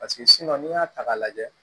Paseke n'i y'a ta k'a lajɛ